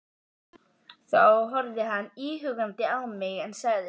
Þá horfði hann íhugandi á mig, en sagði svo